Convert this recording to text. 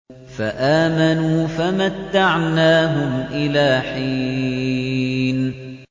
فَآمَنُوا فَمَتَّعْنَاهُمْ إِلَىٰ حِينٍ